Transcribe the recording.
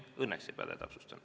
Õnneks ei päde, täpsustan.